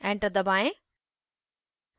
enter दबाएं